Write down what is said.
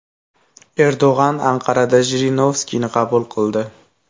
Erdo‘g‘on Anqarada Jirinovskiyni qabul qildi.